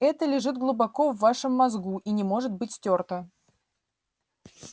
это лежит глубоко в вашем мозгу и не может быть стёрто